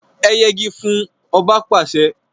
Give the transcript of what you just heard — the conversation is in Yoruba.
E yegi fún! Oba pàse!